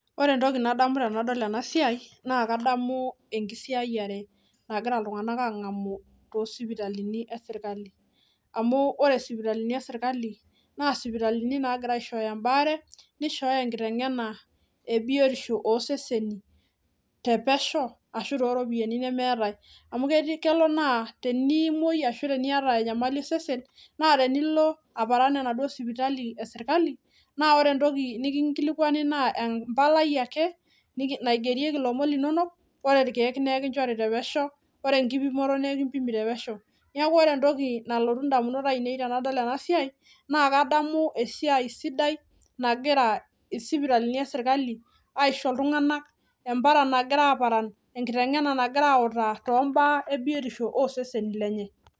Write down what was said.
Ore entoki nadamu tenadol ena siai naa kadamu enkisiayiare nagira iltung'anak ang'amu tosipitalini esirkali amu ore isipitalini esirkali naa isipitalini nagira aishooyo embaare nishooyo enkiteng'ena ebiotisho oseseni te pesho ashu toropiyiani nemeetae amu ketii kelo naa teniimuoi ashu teniata enyamali osesen naa tenilo aparan enaduo sipitali esirkali naa ore entoki nikinkilikuani naa eh empalai ake naigerieki ilomon linonok ore irkeek nekinchori te pesho ore enkipimoto naa ekimpimi te pesho niaku ore entoki nalotu indamunot ainei tenadol ena siai naa kadamu esiai sidai nagira isipitalini esirkali aisho iltung'anak emparan nagira aparan enkiteng'ena nagira autaa tombaa ebiotisho oseseni lenye.